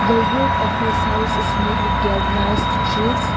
the roof of this house is made with gallized sheets.